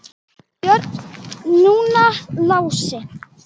Björn, núna Lási.